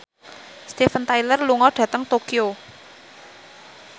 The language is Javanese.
Steven Tyler lunga dhateng Tokyo